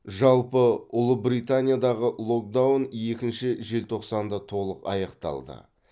жалпы ұлыбританиядағы локдаун екінші желтоқсанда толық аяқталды